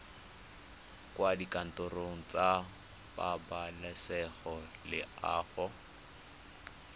kwa dikantorong tsa pabalesego loago